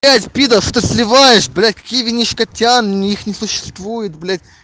блять пидор что ты сливаешь блядь какие винишко-тян их не существует блять